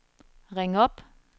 ring op